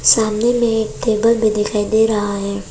सामने में टेबल भी दिखाई दे रहा है।